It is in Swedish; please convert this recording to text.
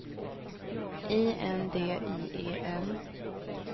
I N D I E N